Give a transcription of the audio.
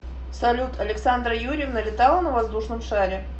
салют александра юрьевна летала на воздушном шаре